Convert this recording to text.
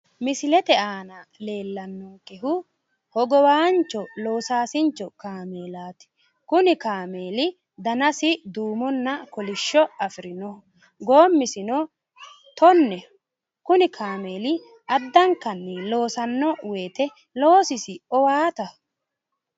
Misilete aana leellannonkehu hogowaancho loosaasincho kaameelaati. Kuni kaameeli danasi duumonna kolishsho afirinoho. Goommisino tonneho. Addankanni loosanno woyite loosisi owaataho.